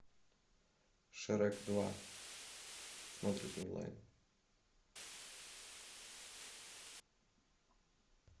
шрек два смотреть онлайн